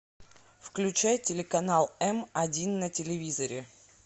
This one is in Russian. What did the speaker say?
включай телеканал м один на телевизоре